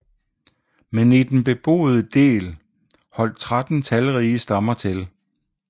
Men i den beboede del holdt 13 talrige stammer til